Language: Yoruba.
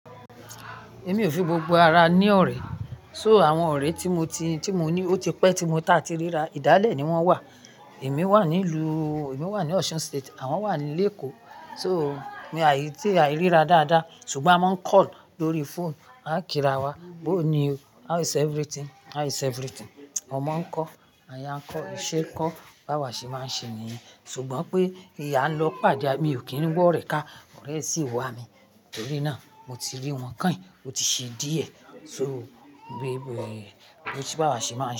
Èmi ò fi gbogbo ara ní ọ̀rẹ́, so àwọn ọ̀rẹ́ tí mo ti, tí mo ní, ó ti pẹ́ tí mo ta ti ríra, ìdálẹ̀ ni wọ́n wà. Èmi wà nílu, èmi wà ní Osun State, àwọn wà nílèkòó. So mi àì tí àì ríra dáadáa ṣùgbọ́n a máa ń call lórí phone, a máa ń kírawọ, "how are you? How is everything? How is everything?" Wọ́n má ń kọ́, ànya ń kọ́, ìṣe ń kọ́, báwa ṣé máa ń ṣe nìyẹn. Ṣùgbọ́n pé ìyá lọ pàdé, èmi ò kí ń gbọ́ rẹ̀ ká, ọ̀rẹ́ sì wà mí. Torí náà mo ti rí wọn káì, ó ti ṣe díẹ̀. So bí, bí, bí tí báwa ṣé máa ń ṣe.